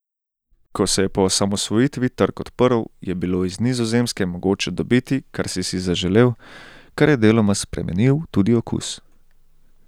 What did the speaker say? Ko se je po osamosvojitvi trg odprl, je bilo iz Nizozemske mogoče dobiti, kar si si zaželel, kar je deloma spremenil tudi okus.